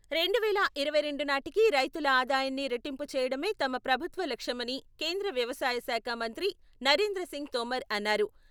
రెండు వేల ఇరవై రెండు నాటికి రైతుల ఆదాయాన్ని రెట్టింపు చేయడమే తమ ప్రభుత్వ లక్ష్యమని కేంద్ర వ్యవసాయ శాఖ మంత్రి నరేంద్ర సింగ్ తోమర్ అన్నారు.